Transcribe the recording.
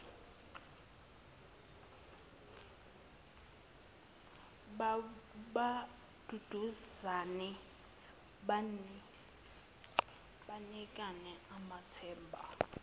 baduduzane banikane amathemba